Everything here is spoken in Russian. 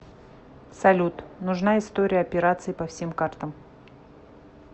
салют нужна история операций по всем картам